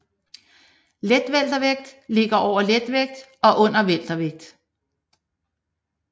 Letweltervægt ligger over letvægt og under weltervægt